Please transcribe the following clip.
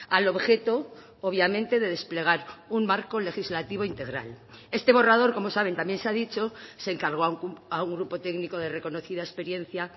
al objeto obviamente de desplegar un marco legislativo integral este borrador como saben también se ha dicho se encargó a un grupo técnico de reconocida experiencia